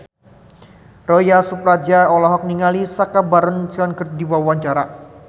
Ronal Surapradja olohok ningali Sacha Baron Cohen keur diwawancara